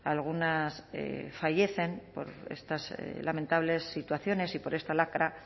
algunas fallecen por estas lamentables situaciones y por esta lacra